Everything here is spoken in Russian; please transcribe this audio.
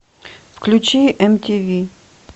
включи нтв